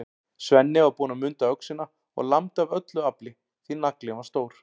Svenni var búinn að munda öxina og lamdi af öllu afli, því naglinn var stór.